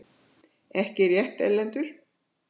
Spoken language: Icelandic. Ekki rétt, Erlendur?!